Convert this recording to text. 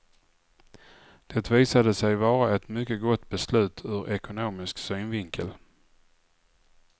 Det visade sig vara ett mycket gott beslut ur ekonomisk synvinkel.